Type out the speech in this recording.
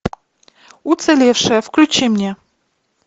уцелевшая включи мне